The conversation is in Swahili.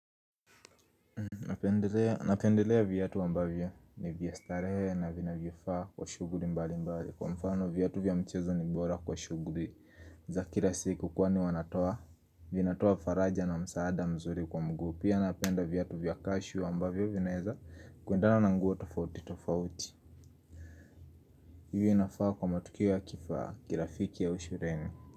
Napendelea viatu ambavyo ni vya starehe na vinavyofaa kwa shughuli mbali mbali Kwa mfano viatu vya mchezo ni bora kwa shughuli za kila siku kwani wanatoa Vinatoa faraja na msaada mzuri kwa mguu Pia napenda viatu vya kashu ambavyo vinaeza kuendana na nguo tofauti tofauti Hivyo inafaa kwa matukio ya kifaa kirafiki au shuleni.